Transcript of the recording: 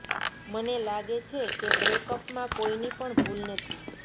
મને લાગે છે કે બ્રેકઅપ માં કોઈની પણ ભૂલ નથી